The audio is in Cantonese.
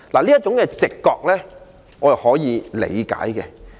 這種直覺，我可以理解。